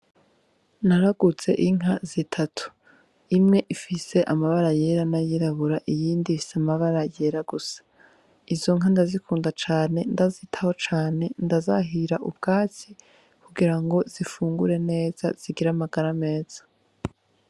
Naraguze inka zitatu imwe ifise amabara yera na yirabura iyindi ifise amabara yera gusa izo nka ndazikunda cane ndazitaho cane ndazahira ubwatsi kugira ngo zifungure neza zigire amagara ameza.